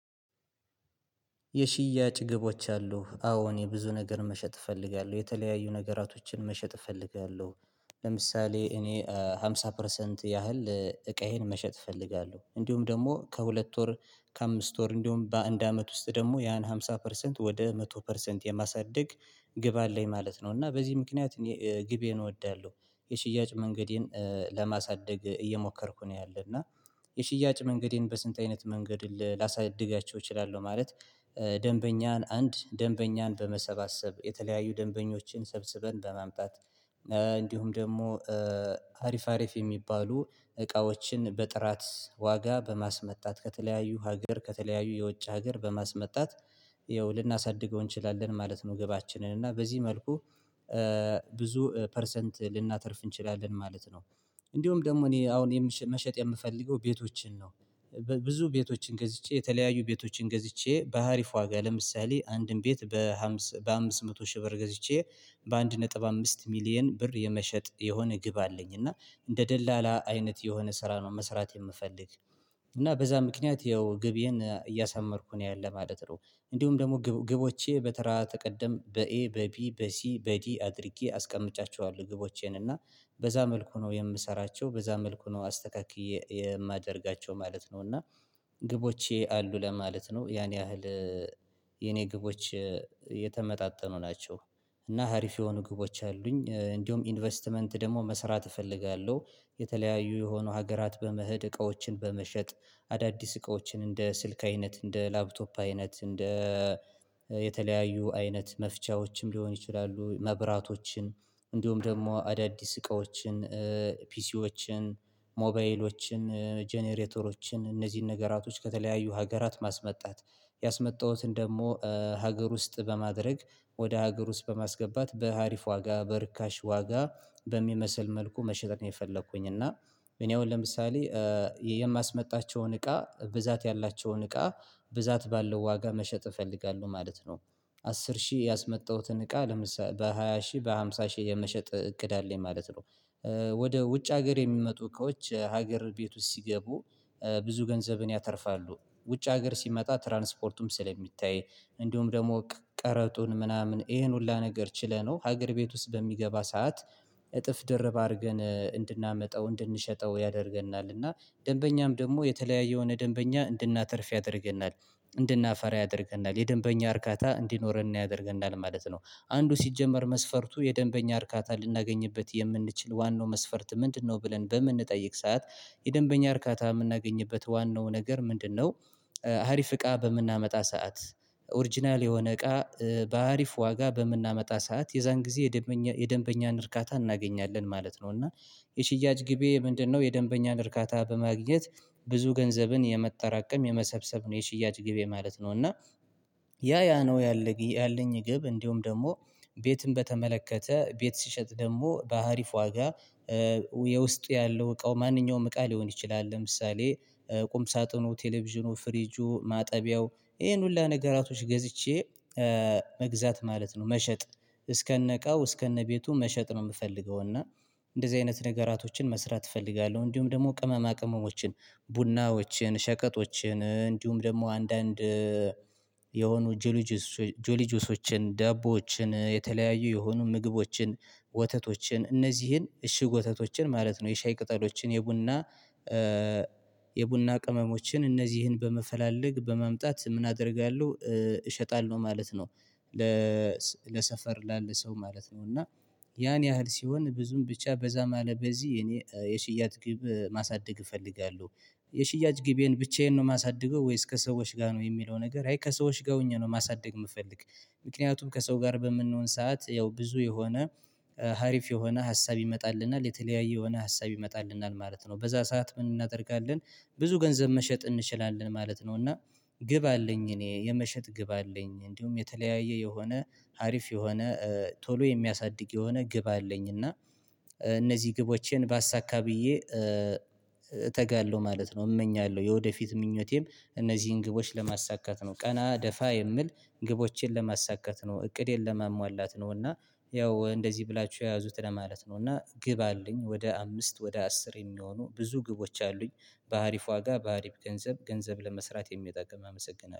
የሽያጭ ግቦች አሉ አዎ እኔ ብዙ ነገር መሸጥ እፈልጋለሁ የተለያዩ ነገራቶችን መሸጥ እፈልጋለሁ። ለምሳሌ እኔ አምሳ ፐርሰንት ያህል እቃዬን መሸጥ እፈልጋለሁ እንዲሁም ደግሞ ከሁለት ወር ከአምስት ወር እንዲሁም በአንድ አመት ውስጥ ደግሞ ያን ሃምሳ ፐርሰንት ወደ መቶ ፐርሰንት የማሳድግ ግብ አለኝ ማለት ነው። እና በዚህ ምክንያት እኔ ግቤን እወዳለሁ የሽያጭ መንገዴን ለማሳደግ እየሞከርኩ ነው ያለና የሽያጭ መንገዴን በስንት አይነት መንገድ ላሳድጋቸው እችላለሁ። ማለት ደንበኛን አንድ ደንበኛን በመሰባሰብ የተለያዩ ደንበኞችን ሰብስበን በማምጣት እንዲሁም ደግሞ አሪፍ አሪፍ የሚባሉ እቃዎችን በጥራት ዋጋ በማስመጣት ከተለያዩ ሀገር ከተለያዩ የውጭ ሀገር በማስመጣት ይኸው ልናሳድገው እንችላለን ማለት ነው። ገባችንን እና በዚህ መልኩ ብዙ ፐርሰንት ልናተርፍ እንችላለን ማለት ነው። እንዲሁ ደግሞ እኔ አሁን መሸጥ የምፈልገው ቤቶችን ነው። ብዙ ቤቶችን ገዝቼ የተለያዩ ቤቶችን ገዝቼ በሀሪፍ ዋጋ ለምሳሌ አንድን ቤት በሃምስ በአምስት መቶ ሺህ ብር ገዝቼ በአንድ ነጥብ አምስት ሚሊየን ብር የመሸጥ የሆነ ግብ አለኝ እና እንደ ደላላ አይነት የሆነ ስራ ነው መስራት የምፈልግ። እና በዛ ምክንያት ያው ግብዬን እያሳመርኩ ነው ያለ ማለት ነው። እንዲሁም ደግሞ ግቦቼ በተራ ተቀደም በኤ በቢ በሲ በዲ አድርጌ አስቀምጫችኋለሁ ግቦቼን እና በዛ መልኩ ነው የምሰራቸው በዛ መልኩ ነው አስተካክዬ የማደርጋቸው ማለት ነው። እና ግቦቼ አሉ ለማለት ነው ያን ያህል የኔ ግቦች የተመጣጠኑ ናቸው። እና ሀሪፍ የሆኑ ግቦች አሉኝ እንዲሁም ኢንቨስትመንት ደግሞ መስራት እፈልጋለሁ። የተለያዩ የሆነ ሀገራት በመሄድ እቃዎችን በመሸጥ አዳዲስ እቃዎችን እንደ ስልክ አይነት እንደ ላፕቶፕ አይነት እንደ የተለያዩ አይነት መፍቻዎችም ሊሆን ይችላሉ። መብራቶችን እንዲሁም ደግሞ አዳዲስ እቃዎችን ፒሲዎችን ሞባይሎችን ጄኔኔተሮችን እነዚህን ነገራቶች ከተለያዩ ሀገራት ማስመጣት ያስመጣሁትን ደግሞ ሀገር ውስጥ በማድረግ ወደ ሀገር ውስጥ በማስገባት በሀሪፍ ዋጋ በርካሽ ዋጋ በሚመስል መልኩ መሸጥ ነው። የፈለኩኝ እና እኔ አሁን ለምሳሌ የማስመጣቸውን እቃ ብዛት ያላቸውን እቃ ብዛት ባለው ዋጋ መሸጥ እፈልጋለሁ ማለት ነው። አስር ሺህ ያስመጣሁትን እቃ ለምሳሌ በሃያ ሺህ በሃምሳ ሺህ የመሸጥ እቅድ አለኝ ማለት ነው። ወደ ውጭ ሀገር የሚመጡ እቃዎች ሀገር ቤት ውስጥ ሲገቡ ብዙ ገንዘብን ያተርፋሉ ውጭ ሀገር ሲመጣ ትራንስፖርቱም ስለሚታይ እንዲሁም ደግሞ ቀረጡን ምናምን ይሄን ሁሉ ነገር ችለነው ሀገር ቤት ውስጥ በሚገባ ሰዓት እጥፍ ደርብ አድርገን እንድናመጣው እንድንሸጠው ያደርገናልና እና ደንበኛም ደግሞ የተለያየ የሆነ ደንበኛ እንድናተርፍ ያደርገናል እንድናፈራ ያደርገናል የደንበኛ እርካታ እንዲኖረን ያደርገናል ማለት ነው። አንዱ ሲጀመር መስፈርቱ የደንበኛ እርካታ ልናገኝበት የምንችል ዋናው መስፈርት ምንድነው? ብለን በምንጠይቅ ሰዓት የደንበኛ እርካታ የምናገኝበት ዋናው ነገር ምንድነው? ሀሪፍ እቃ በምናመጣ ሰዓት ኦርጅናል የሆነ እቃ በአሪፍ ዋጋ በምናመጣ ሰዓት የዛን ጊዜ የደንበኛ የደንበኛን እርካታ እናገኛለን ማለት ነው። እና የሽያጭ ግቤ ምንድነው? የደንበኛን እርካታ በማግኘት ብዙ ገንዘብን የማጠራቀም የመሰብሰብ ነው የሽያጭ ግቤ ማለት ነው። እና ያ ያ ነው ያለኝ ያለኝ ግብ እንዲሁም ደግሞ ቤትን በተመለከተ ቤት ስሸጥ ደግሞ በሀሪፍ ዋጋ የውስጡ ያለው እቃው ማንኛውም እቃ ሊሆን ይችላል። ለምሳሌ ቁም ሳጥኑ ቴሌቪዥኑ ፍሪጁ ማጠቢያው ይሄን ሁሉ ነገራቶች ገዝቼ መግዛት ማለት ነው። መሸጥ እስከነ እቃው እስከነ ቤቱ መሸጥ ነው የምፈልገው እና እንደዚህ አይነት ንገራቶችን መስራት እፈልጋለሁ። እንዲሁም ደግሞ ቅመማ ቅመሞችን ቡናዎችን ሸቀጦችን እንዲሁም ደግሞ አንዳንድ የሆኑ ጆሊጆስ ጆሊጆሶችን ዳቦዎችን የተለያዩ የሆኑ ምግቦችን ወተቶችን እነዚህን እሽግ ወተቶችን ማለት ነው። የሻይ ቅጠሎችን የቡና የቡና ቅመሞችን እነዚህን በመፈላለግ በማምጣት ምን አደርጋለሁ እሸጣለሁ ማለት ነው። ለሰፈር ላለ ሰው ማለት ነው እና ያን ያህል ሲሆን ብዙም ብቻ በዛ አለ በዚህ የኔ የሽያጭ ግብ ማሳደግ እፈልጋለሁ። የሽያጭ ግቤን ብቻዬን ነው የማሳድገው ወይስ ከሰዎች ጋር ነው የሚለው ነገር አይ ከሰዎች ጋር ሆኜ ነው ማሳደግ የምፈልግ። ምክንያቱም ከሰው ጋር በምንሆን ሰዓት ያው ብዙ የሆነ ሀሪፍ የሆነ ሀሳብ ይመጣልናል የተለያየ የሆነ ሀሳብ ይመጣልናል ማለት ነው በዛ ሰዓት ምን እናደርጋለን? ብዙ ገንዘብ መሸጥ እንችላለን ማለት ነው። እና ግብ አለኝ እኔ የመሸጥ ግብ አለኝ እንዲሁም የተለያየ የሆነ አሪፍ የሆነ ቶሎ የሚያሳድግ የሆነ ግብ አለኝ እና እነዚህ ግቦቼን ባሳካ ብዬ እተጋለሁ ማለት ነው። እመኛለሁ የወደፊት ምኞቴም እነዚህን ግቦች ለማሳካት ነው ቀና ደፋ የምል ግቦቼን ለማሳካት ነው እቅዴን ለማሟላት ነው። እና ያው እንደዚህ ብላችሁ ያዙት ለማለት ነው እና ግብ አለኝ ወደ አምስት ወደ አስር የሚሆኑ ብዙ ግቦች አሉኝ። በአሪፍ ዋጋ በአሪፍ ገንዘብ ገንዘብ ለመስራት የሚጠቅም አመሰግናለሁ